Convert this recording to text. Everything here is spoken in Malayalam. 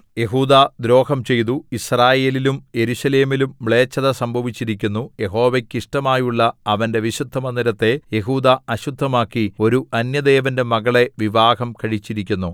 യെഹൂദാ ദ്രോഹം ചെയ്തു യിസ്രായേലിലും യെരൂശലേമിലും മ്ലേച്ഛത സംഭവിച്ചിരിക്കുന്നു യഹോവയ്ക്ക് ഇഷ്ടമായുള്ള അവന്റെ വിശുദ്ധമന്ദിരത്തെ യെഹൂദാ അശുദ്ധമാക്കി ഒരു അന്യദേവന്റെ മകളെ വിവാഹം കഴിച്ചിരിക്കുന്നു